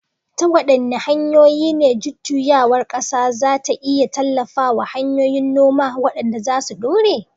Ta waɗanne hanyoyi ne jujjuyawar ƙasa za ta iya tallafa wa hanyoyin noma waɗanda za su dore?